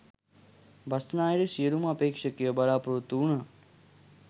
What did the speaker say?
බස්නාහිර සියලූමඅපේක්ෂකයෝ බලාපොරොත්තු වුණා.